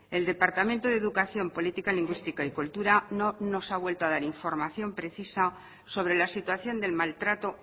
el departamento de educación política lingüística y cultura no nos ha vuelto a dar información precisa sobre la situación del maltrato